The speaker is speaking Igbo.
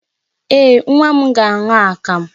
Ee, nwa m ga-aṅụ akamụ.